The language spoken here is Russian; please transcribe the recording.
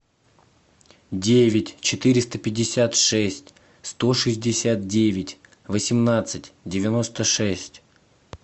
девять четыреста пятьдесят шесть сто шестьдесят девять восемнадцать девяносто шесть